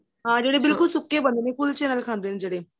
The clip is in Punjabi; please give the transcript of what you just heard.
ਹਾਂ ਜਿਹੜੇ ਬਿਲਕੁਲ ਸੁੱਕੇ ਬਣਦੇ ਨੇ ਕੁੱਲਚੇ ਨਾਲ ਖਾਂਦੇ ਨੇ ਜਿਹੜੇ